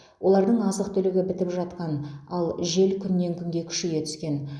олардың азық түлігі бітіп жатқан ал жел күннен күнге күшейе түскен